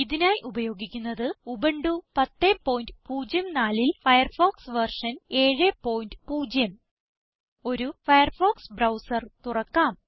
ഇതിനായി ഉപയോഗിക്കുന്നത് ഉബുന്റു 1004ൽ ഫയർഫോക്സ് വെർഷൻ 70 ഒരു ഫയർഫോക്സ് ബ്രൌസർ തുറക്കാം